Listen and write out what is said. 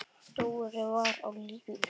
Dóri var á lífi.